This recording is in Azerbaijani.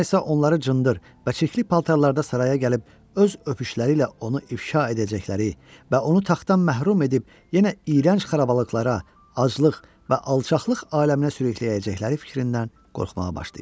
Sonra isə onları cındır və çirkli paltarlarda saraya gəlib öz öpüşləri ilə onu ifşa edəcəkləri və onu taxtdan məhrum edib yenə iyrənc xarabalıqlara, aclıq və alçaqlıq aləminə sürükləyəcəkləri fikrindən qorxmağa başlayırdı.